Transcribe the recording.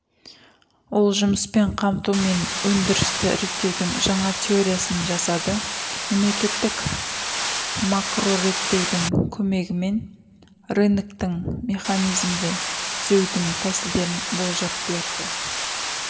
ол жұмыспен қамту мен өндірісті реттеудің жаңа теориясын жасады мемлекеттік макрореттеудің көмегімен рыноктық механизімді түзеудің тәсілдерін болжап берді